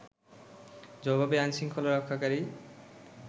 জবাবে আইনশৃঙ্খলা রক্ষাকারী